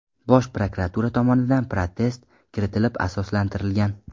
Bosh prokuratura tomonidan protest kiritilib, asoslantirilgan.